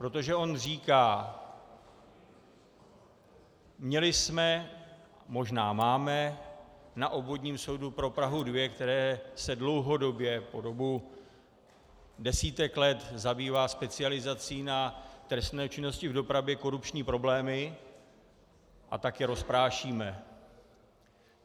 Protože on říká: Měli jsme, možná máme, na Obvodním soudu pro Prahu 2, který se dlouhodobě, po dobu desítek let, zabývá specializací na trestné činnosti v dopravě, korupční problémy, a tak je rozprášíme.